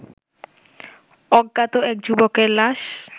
অজ্ঞাত এক যুবকের লাশ